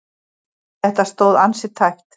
Þetta stóð ansi tæpt.